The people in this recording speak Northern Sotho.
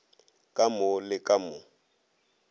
ka mo le ka mo